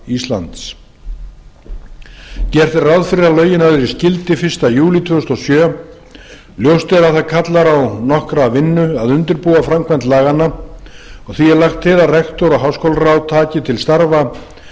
gert er ráð fyrir að lögin öðlist gildi fyrsta júlí tvö þúsund og sjö ljóst er að það kallar á nokkra vinnu að undirbúa framkvæmd laganna og því er lagt til að rektor og háskólaráð taki til starfa